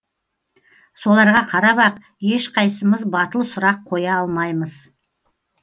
соларға қарап ақ ешқайсымыз батыл сұрақ қоя алмаймыз